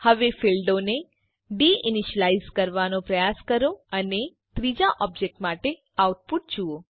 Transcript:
હવે ફીલ્ડોને deinitialise કરવાનો પ્રયાસ કરો અને ત્રીજા ઓબજેક્ટ માટે આઉટપુટ જુઓ